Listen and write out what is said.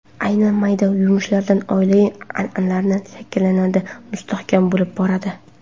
Aynan mayda yumushlardan oilaviy an’analar shakllanadi, mustahkam bo‘lib boradi.